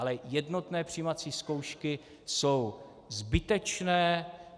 Ale jednotné přijímací zkoušky jsou zbytečné.